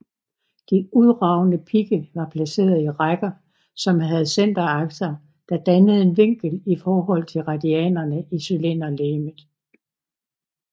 De udragende pigge var placeret i rækker som havde centerakser der dannede en vinkel i forhold til radianer i cylinderlegemet